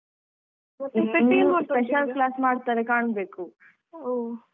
ಮತ್ತೆ ಇನ್ನು special class ಮಾಡ್ತಾರೆ ಕಾಣ್ಬೇಕು.